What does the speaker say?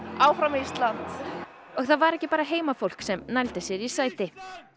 áfram Ísland og það var ekki bara heimafólk sem nældi sér í sæti